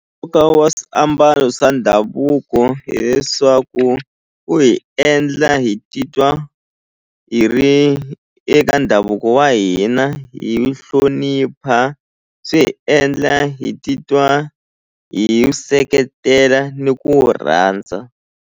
wa swiambalo swa ndhavuko hileswaku u hi endla hi titwa hi ri eka ndhavuko wa hina hi hlonipha swi endla hi titwa hi seketela ni ku rhandza.